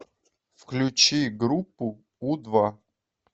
включи группу у два